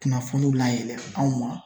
Kunnafoniw layɛlɛn anw ma.